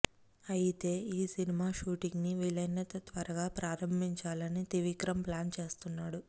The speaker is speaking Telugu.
అయితే ఈ సినిమా షూటింగ్ను వీలైనంత త్వరగా ప్రారంభించాలని త్రివిక్రమ్ ప్లాన్ చేస్తున్నాడు